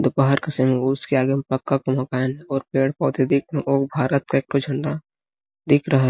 दोपहर का समय उसके आगे में पक्का का मकान और पेड़-पौधे दिख-- और भारत का एक ठो झंडा दिख रहा --